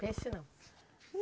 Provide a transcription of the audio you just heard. Peixe não?